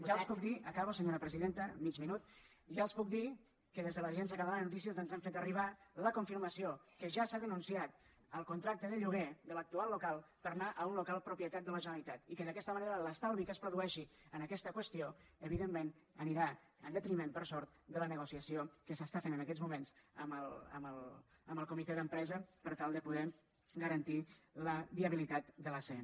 ja els puc dir acabo senyora presidenta mig minut que des de l’agència catalana de notícies ens han fet arribar la confirmació que ja s’ha denunciat el contracte de lloguer de l’actual local per anar a un local propietat de la generalitat i que d’aquesta manera l’estalvi que es produeixi en aquesta qüestió evidentment anirà en detriment per sort de la negociació que s’està fent en aquests moments amb el comitè d’empresa per tal de poder garantir la viabilitat de l’acn